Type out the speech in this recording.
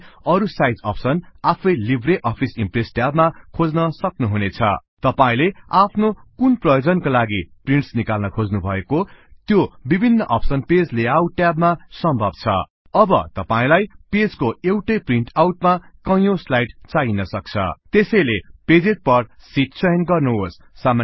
तपाईं अरु size option आफै लिबर अफिस इम्प्रेस ट्याब मा खोज्नसक्नुहुनेछ तपाईले आफनोकुन प्रयोजनका लागि प्रिन्टस् निकाल्न खोज्नु भएको त्यो विभिन्न अप्सन पेज लेआउट ट्याब मा सम्भव छ अब तपाईलाई पेजको एउटै प्रिन्टआउट मा कयौं स्लाइडस् चाहिन सक्छ त्यसैले पेजेस पर सिट चयन गर्नुहोस्